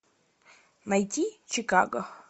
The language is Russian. найти чикаго